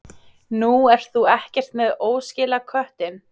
Nú, ert þú ekki með óskilaköttinn?